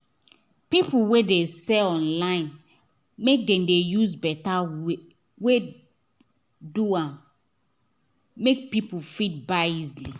peopple wey dey sell online make dem dey use better wey do am make people fit buy easily